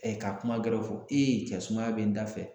ka kuma wɛrɛw fɔ e ye cɛ sumaya bɛ n dafɛ